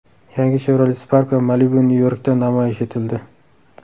Yangi Chevrolet Spark va Malibu Nyu-Yorkda namoyish etildi .